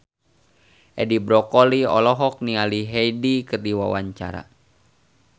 Edi Brokoli olohok ningali Hyde keur diwawancara